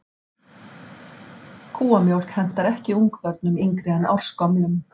Kúamjólk hentar ekki ungbörnum yngri en ársgömlum.